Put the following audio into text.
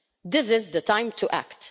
This is the time to act.